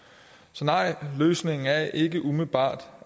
så nej løsningen er ikke umiddelbart